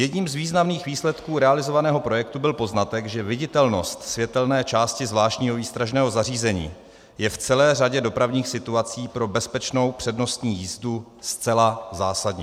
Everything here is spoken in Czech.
Jedním z významných výsledků realizovaného projektu byl poznatek, že viditelnost světelné části zvláštního výstražného zařízení je v celé řadě dopravních situací pro bezpečnou přednostní jízdu zcela zásadní.